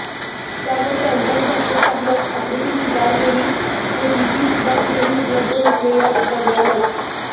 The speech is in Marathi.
त्यावर त्यांच्याच भाषेत काही आकृती चितारलेली होती ती सुद्धा कुठेही उपलब्ध नसलेल्या द्रव्यानंच